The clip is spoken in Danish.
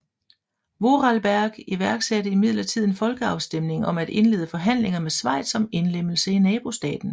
Vorarlberg iværksatte imidlertid en folkeafstemning om at indlede forhandlinger med Schweiz om indlemmelse i nabostaten